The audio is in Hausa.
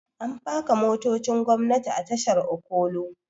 An faka motocin gwamnati a tashar okolo